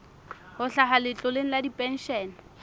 ho hlaha letloleng la dipenshene